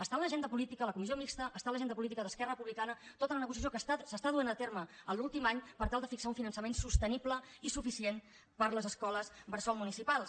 està a l’agenda política a la comissió mixta està a l’agenda política d’esquerra republicana tota la negociació que es du a terme en l’últim any per tal de fixar un finançament sostenible i suficient per a les escoles bressol municipals